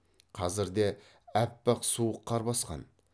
қазірде аппақ суық қар басқан